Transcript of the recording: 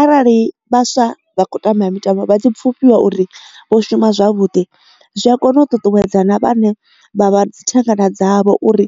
Arali vhaswa vha kho tamba mitambo vha tshi pfufhiwa uri vho shuma zwavhuḓi zwi a kona u ṱuṱuwedzana vhane vha vha dzi thangana dzavho uri